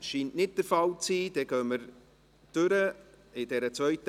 – Dies scheint nicht der Fall zu sein.